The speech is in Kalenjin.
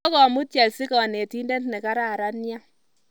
Kokomut chelsea kanetindet ne kararan nea